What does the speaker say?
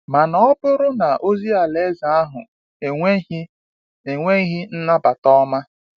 mana ọ bụrụ na ozi alaeze ahụ enweghị enweghị nnabata ọma?